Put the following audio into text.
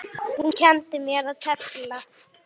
Þú kenndir mér að tefla.